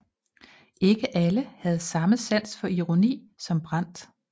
Ikke alle havde samme sans for ironi som Brandt